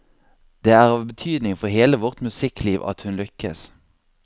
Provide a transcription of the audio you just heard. Det er av betydning for hele vårt musikkliv at hun lykkes.